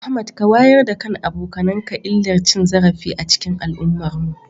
Ahmad ka wayar da kan abokanka illar cin zarafi a cikin al'ummarmu.